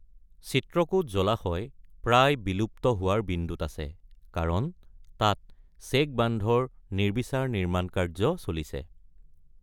চিত্ৰকোট জলাশয় প্ৰায় বিলুপ্ত হোৱাৰ বিন্দুত আছে কাৰণ তাত চেক বান্ধৰ নিৰ্বিচাৰ নিৰ্মাণকাৰ্য চলিছে।